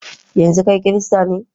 yanzu kai kirista ne?